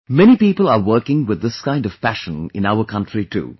Many people are working with this kind of passion in our country too